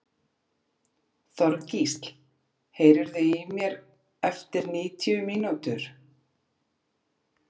Þorgísl, heyrðu í mér eftir níutíu mínútur.